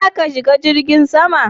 Za ka shiga jirgin sama?